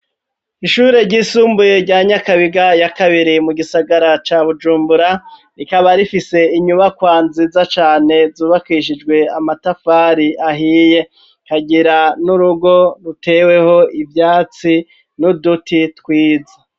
Ishure ryisumbuye rya nyakabiga ya kabiri mu gisagara ca bujumbura rikaba rifise inyubakwa nziza cane zubakishijwe amatafari ahiye kagira n'urugo ruteweho ivyatsi n'uduti twiza.